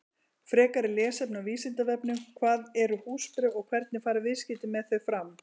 Frekara lesefni á Vísindavefnum: Hvað eru húsbréf og hvernig fara viðskipti með þau fram?